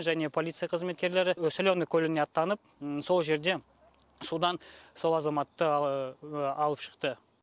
және полиция қызметкерлері соленное көліне аттанып сол жерде судан сол азаматты алып шықты